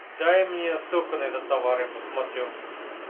дай мне ссылку на этот товар я посмотрю